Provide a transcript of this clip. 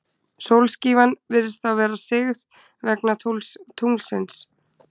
Sólskífan virðist þá vera sigð vegna tunglsins.